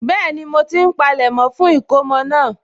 Bẹ́ẹ̀ni, mo ti ń palẹ̀mọ́ fún ìkómọ náà